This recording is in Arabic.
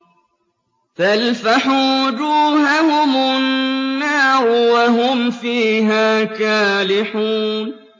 تَلْفَحُ وُجُوهَهُمُ النَّارُ وَهُمْ فِيهَا كَالِحُونَ